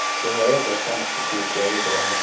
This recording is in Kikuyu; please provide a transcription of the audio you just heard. Kũheo mbeca nĩ cukuru cia gĩthomo